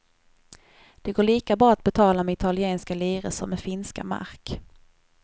Det går lika bra att betala med italienska lire som med finska mark.